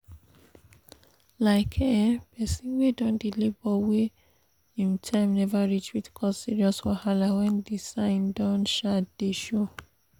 like um persin wey don dey labor wey him time never reach fit cause serious wahala when the sign don um dey show